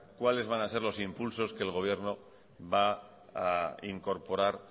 cuales van a ser los impulsos que el gobierno va a incorporar